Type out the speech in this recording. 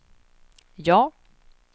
ja